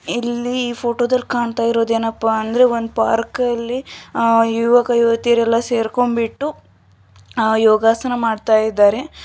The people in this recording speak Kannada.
ಇಲ್ಲಿ ಫೋಟೊದಲ್ ಕಾಣ್ತಾಇರೋದೇನಪ್ಪಾ ಅಂದ್ರೆ ಒಂದ್ ಪಾರ್ಕಲ್ಲಿ ಅಹ್ ಯುವಕ ಯುವತಿಯರೆಲ್ಲ ಸೇರ್ಕೊಂಬಿಟ್ಟು ಅಹ್ ಯೋಗಾಸನ ಮಾಡ್ತಾಇದ್ದಾರೆ.